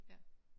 Ja